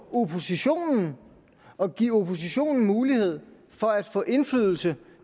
oppositionen og giver oppositionen mulighed for at få indflydelse